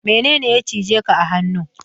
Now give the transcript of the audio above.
Mene ne ya cije ka a hannu?